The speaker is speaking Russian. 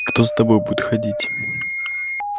кто за тобою будет ходить